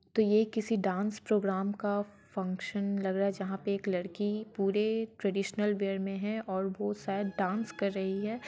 तो ये किसी डांस प्रोग्राम का फंगशान लग रहा है जहा पे एक लड़की पूरे ट्रेडईसहनल वेर मे है और वो शायद डांस कर रही है।